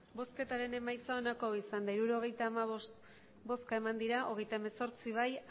emandako botoak hirurogeita hamabost bai hogeita hemezortzi ez